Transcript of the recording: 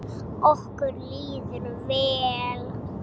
Okkur líður vel.